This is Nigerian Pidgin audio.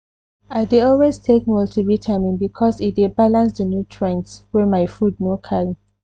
i dey always take multivitamin because e dey balance the nutrients wey my food no carry.